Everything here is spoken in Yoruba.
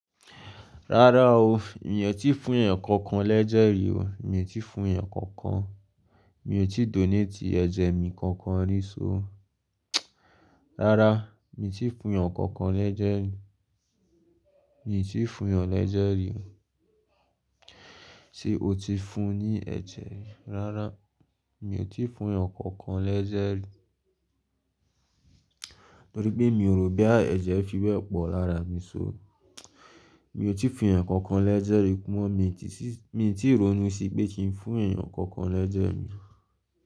Rárá o, mi ò tíì fún èèyàn kankan lẹ́jẹ̀ rí o, mi ò tíì fún èèyàn kankan. Mi ò tíì donate ẹ̀jẹ̀ mi kankan rí só. Rárá, mi ò tíì fún èèyàn kankan lẹ́jẹ̀ rí. Mi ò tíì fún èèyàn lẹ́jẹ̀ rí o. Sé o ti fún ní ẹ̀jẹ̀? Rárá, mi ò tíì fún èèyàn kankan lẹ́jẹ̀ rí. Torí pé mi ò rò bí à ẹ̀jẹ̀ fi wẹ̀ pọ̀ lára mi só. Mi ò tíì fún èèyàn kankan lẹ́jẹ̀ rí mọ́, mi ti sì, mi ò tíì ronú sí pé kí n fún èèyàn kankan lẹ́jẹ̀ mi.